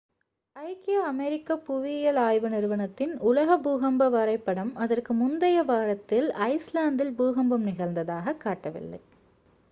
ஐக்கிய அமெரிக்க புவியியல் ஆய்வு நிறுவனத்தின் உலக பூகம்ப வரைபடம் அதற்கு முந்தைய வாரத்தில் ஐஸ்லாந்தில் பூகம்பம் நிகழ்ந்ததாகக் காட்டவில்லை